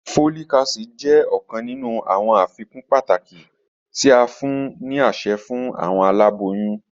Folic acid jẹ ọkan ninu awọn afikun pataki ti a fun ni aṣẹ fun awọn alaboyun.